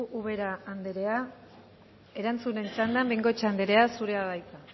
ubera andrea erantzuten txandan bengoechea andrea zurea da hitza